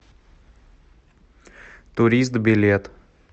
турист билет